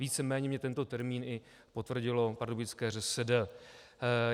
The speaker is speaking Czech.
Víceméně mi tento termín i potvrdilo pardubické ŘSD.